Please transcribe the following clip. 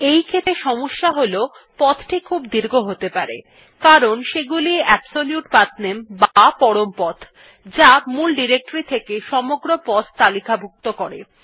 এইক্ষেত্রে সমস্যা হল পথটি খুব দীর্ঘ হতে পারে কারণ এগুলি হল অ্যাবসোলিউট পাঠনামে বা পরম পথ যা মূল ডিরেক্টরী থেকে সমগ্র পথ তালিকাভুক্ত করে